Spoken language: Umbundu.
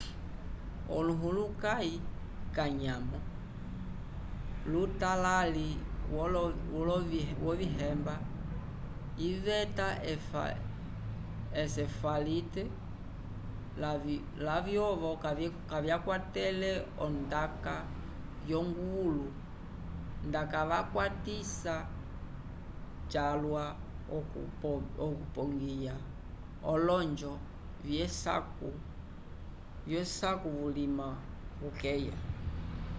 olohulukãyi kanyamo lutalali wolovihemba iveta encefalite lavyovo vakwatele ondaka yonguvulu ndacavakwatisa calwa okupongiya olonjo vyesaku vulima ukeya